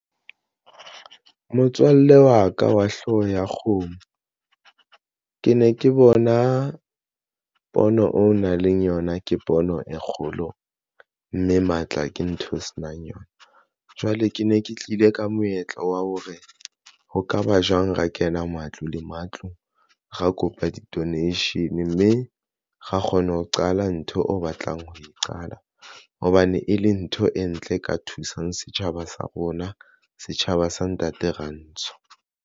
Motswalle wa ka wa hlooho ya kgomo. Ke ne ke bona pono o nang le yona ke pono e kgolo, mme matla ke ntho o se nang yona. Jwale ke ne ke tlile ka moetlo wa hore ho ka ba jwang ra kena matlo le matlo ra kopa di-donation mme ra kgona ho qala ntho o batlang ho e qala hobane e le ntho e ntle ka thusang setjhaba sa rona. Setjhaba sa ntate ra ntsho.